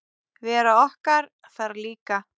Vera okkar þar líka.